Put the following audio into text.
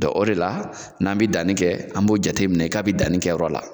o de la ,n'an be danni kɛ an b'o jateminɛ ka bi danni kɛyɔrɔ la.